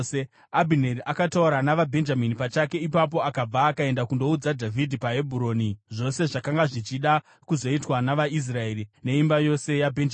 Abhineri akataura navaBhenjamini pachake. Ipapo akabva akaenda kundoudza Dhavhidhi paHebhuroni zvose zvakanga zvichida kuzoitwa navaIsraeri neimba yose yaBhenjamini.